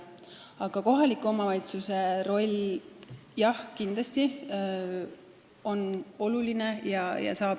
Aga kohaliku omavalitsuse roll on kindlasti oluline.